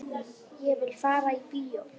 Ég vil fara í bíó